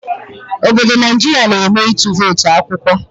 Obodo Naijiria na eme ịtụ votu akwụkwọ